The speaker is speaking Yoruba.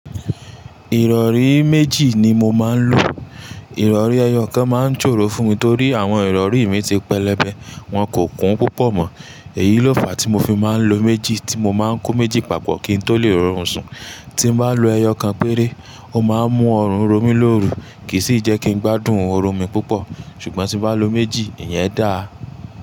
Ìrọ̀rí méjì ni mo máa ń lò. Ìrọ̀rí ẹyọ kan máa ń ṣòro fún mi torí àwọn ìrọ̀rí mi ti pẹlẹbẹ, wọn kò kún púpọ̀ mọ. Èyí ló fàá tí mo fi máa ń lo méjì, tí mo máa ń kó méjì papọ̀ kí n tó lè rorún sún. Tín bá lo ẹyọ kan péré, ó máa ń mú ọrùn rọ mí lóru, kì í sì jẹ́ kí n gbádùn orun mi púpọ̀. Ṣùgbọ́n tí bá lo méjì, ìyẹn dà.